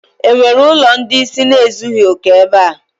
E nwere ụlọ ndị ịsị ezughi oke ebe a?